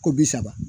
Ko bi saba